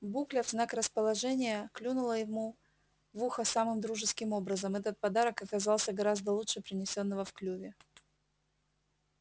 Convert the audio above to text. букля в знак расположения клюнула его в ухо самым дружеским образом этот подарок оказался гораздо лучше принесённого в клюве